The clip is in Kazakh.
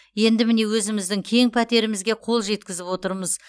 енді міне өзіміздің кең пәтерімізге қол жетізіп отырмыз